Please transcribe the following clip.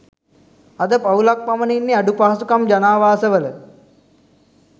අද පවුල්ක් පමණ ඉන්නෙ අඩු පහසුකම් ජනාවාස වල